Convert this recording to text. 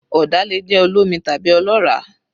Ọ̀dà lè jẹ́ olómi tàbí ọlọ́ràá